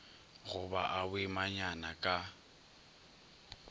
go ba a boimanyana ka